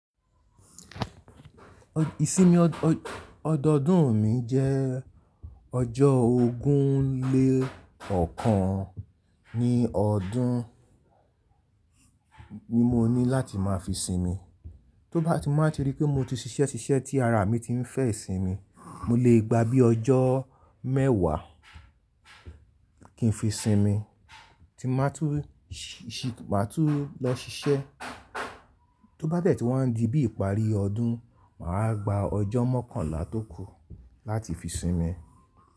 Ìsinmi ọdọodún mi jẹ́ ọjọ́ ogún lé ọ̀kan ní ọdún ni mo ní láti máa fi sinmi. Tó bá ti n ba ti rí pé mo ti ṣiṣẹ́ ṣiṣẹ́ tí ara mi ti ń fẹ́ ìsinmi, mo lè gba bí ọjọ́ mẹ́wàá kí n fi sinmi tí màá tún lọ ṣiṣẹ́. Tó bá dẹ̀ tí wa n di bí ìparí ọdún, màá gba ọjọ́ mọ́kànlá tó kù láti fi sinmi.